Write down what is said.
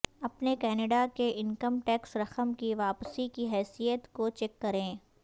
اپنے کینیڈا کے income tax رقم کی واپسی کی حیثیت کو چیک کریں